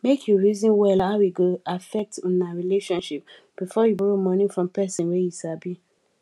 make you reason well how e go affect una relationship before you borrow money from person wey you sabi